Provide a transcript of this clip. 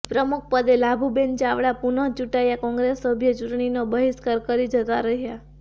પ્રમુખપદે લાભુબેન ચાવડા પુનઃ ચૂંટાયા કોંગ્રેસ સભ્યો ચૂંટણીનો બહિષ્કાર કરી જતા રહ્યા